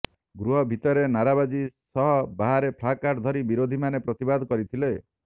ଗୃହ ଭିତରେ ନାରାବାଜି ସହ ବାହାରେ ପ୍ଲାକାର୍ଡ ଧରି ବିରୋଧୀମାନେ ପ୍ରତିବାଦ କରିଥିଲେ